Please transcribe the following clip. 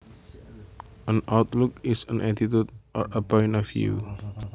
An outlook is an attitude or a point of view